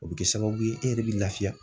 O bɛ kɛ sababu ye e yɛrɛ bɛ lafiya